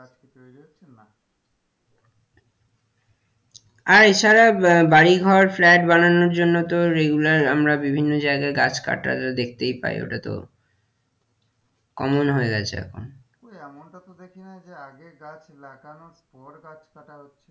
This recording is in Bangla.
আর এ ছাড়া আহ বাড়িঘর flat বানানোর জন্য তো regular আমরা বিভিন্ন জাইগায় গাছ কাটাটা দেখাতেই পাই ওটা তো common হয়ে গেছে এখন কই এমনটা তো দেখি না যে আগে গাছ লাগানোর পর গাছ কাটা হচ্ছে,